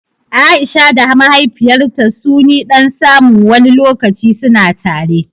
Aisha da mahaifiyarta suni ɗan samu wani lokaci suna tare